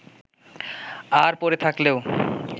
আর পড়ে থাকলেও